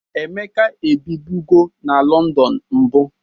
Emeka ebibụgo na Lọndọn mbụ.